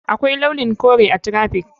Akwai launin kore a traffic.